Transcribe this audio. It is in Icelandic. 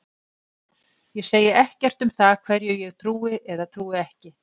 Ég segi ekkert um það hverju ég trúi eða trúi ekki.